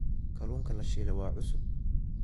Kalluunka la shiilay waa cusub.